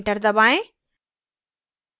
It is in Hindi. enter दबाएँ